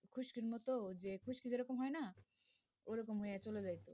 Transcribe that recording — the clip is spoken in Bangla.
খুস্কির মত ওই যে খুস্কি যেরকম হয় না ওরকম হইয়া চলে যাইত